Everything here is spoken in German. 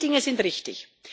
Diese Dinge sind richtig.